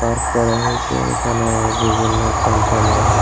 park করা হয়েছে এখানে বিভিন্ন কোম্পানির--